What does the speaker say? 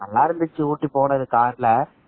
நல்லா இருந்துச்சி ஊட்டி ஊட்டி போனது car ல